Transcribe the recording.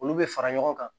Olu bɛ fara ɲɔgɔn kan